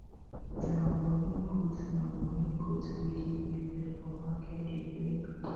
nah money goat nah money goat wey dey give birth for market day bring